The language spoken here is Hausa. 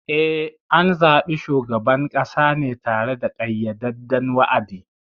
Eh, an zaɓi shugaban ƙasa ne tare da ƙayyadadden wa’adi.